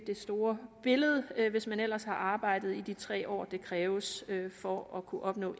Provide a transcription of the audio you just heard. det store billede hvis man ellers har arbejdet i de tre år det kræves for at kunne opnå